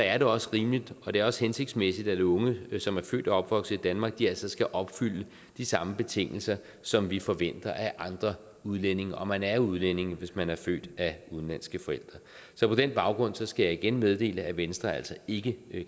er det også rimeligt og det er også hensigtsmæssigt at unge som er født og opvokset i danmark altså skal opfylde de samme betingelser som vi forventer af andre udlændinge og man er udlænding hvis man er født af udenlandske forældre så på den baggrund skal jeg igen meddele at venstre altså ikke